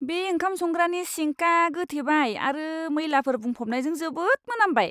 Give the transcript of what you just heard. बे ओंखाम संग्रानि सिंकआ गोथेबाय आरो मैलाफोर बुंफबनायजों जोबोद मोनामबाय!